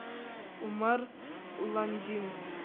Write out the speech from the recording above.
умар ландин